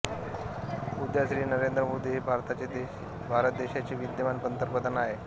उदा श्री नरेंद्र मोदी हे भारत देशाचे विद्यमान पंतप्रधान आहेत